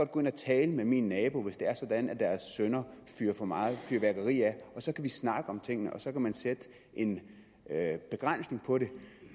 gå ind og tale med mine naboer hvis det er sådan at deres sønner fyrer for meget fyrværkeri af og så kan vi snakke om tingene og så kan man sætte en begrænsning på det